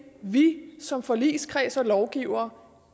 vi som forligskreds og lovgivere